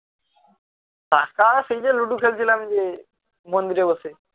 ludo খেলছিলাম গিয়ে মন্দিরে বসে